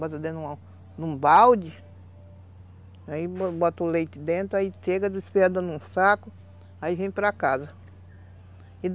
Bota dentro de um balde, aí bota o leite dentro, aí chega, despeja dentro de um saco, aí vem para casa.